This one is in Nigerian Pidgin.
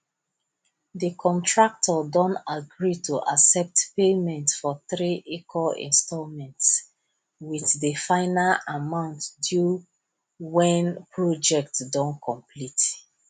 de contractor don agree to accept payment for three equal installments wit de final amount due wen project don complete